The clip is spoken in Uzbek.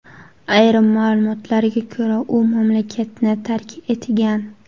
Ayrim ma’lumotlarga ko‘ra, u mamlakatni tark etgan.